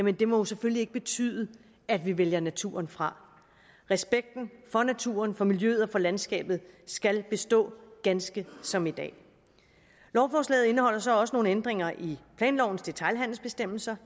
jo selvfølgelig ikke betyde at vi vælger naturen fra respekten for naturen for miljøet og for landskabet skal bestå ganske som i dag lovforslaget indeholder så også nogle ændringer i planlovens detailhandelsbestemmelser